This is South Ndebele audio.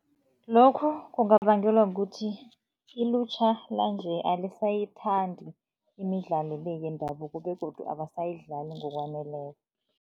Lokho kungabangelwa kukuthi ilutjha lanje alisayithandi imidlalo le yendabuko begodu abasayidlali ngokwaneleko.